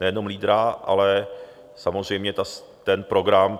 Nejenom lídra, ale samozřejmě ten program.